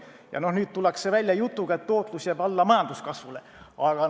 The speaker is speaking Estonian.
Ja nüüd tullakse välja jutuga, et tootlus jääb majanduskasvule alla.